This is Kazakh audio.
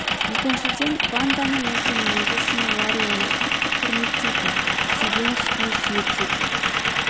екіншіден ванданың осы мінезі үшін ларри оны қатты құрметтейтін сүйген үстіне сүйе түсетін